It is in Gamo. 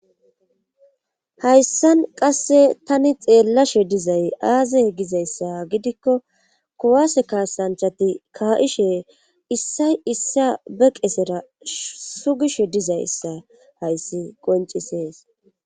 Hayssan qasse tani xeellashe dizay aazay gizayssa gidikko kuwase kaasanchati ka'ishe issay issa be qesera sugishe dizayssa hayssi qoncisees